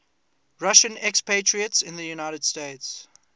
russian expatriates in the united states